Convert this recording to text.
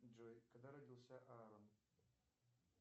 джой когда родился аарон